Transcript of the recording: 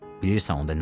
Bilirsən onda nə olar?